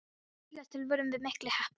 Líkast til vorum við miklu heppnari.